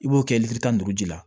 I b'o kɛ tan ni duuru ji la